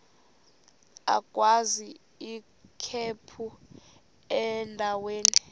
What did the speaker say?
agwaz ikhephu endaweni